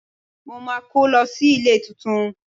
Mo máa kó lọ sí ilé tuntun.